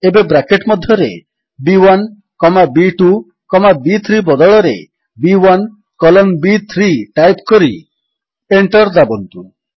ଏବେ ବ୍ରାକେଟ୍ ମଧ୍ୟରେ B one comma B two comma ବି3 ବଦଳରେ ବି1 କଲନ୍ ବି3 ଟାଇପ୍ କରି ଏଣ୍ଟର୍ ଦାବନ୍ତୁ